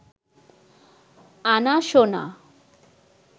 আনা সোনা